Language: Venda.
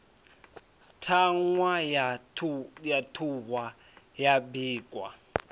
ṱhahwa ya ṱhuhwa ya bikwa